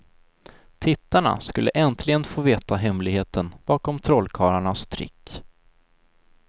Tittarna skulle äntligen få veta hemligheten bakom trollkarlarnas trick.